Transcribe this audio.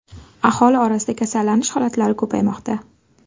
Aholi orasida kasallanish holatlari ko‘paymoqda.